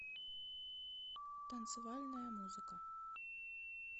танцевальная музыка